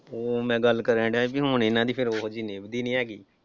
ਊਂ ਮੈਂ ਗੱਲ ਕਰਨ ਡਿਆਂ ਸੀ ਵੀ ਹੁਣ ਇਨ੍ਹਾਂ ਦੀ ਫਿਰ ਉਹੋ ਜਿਹੀ ਨਿੱਭਦੀ ਨਈਂ ਹੈਗੀ।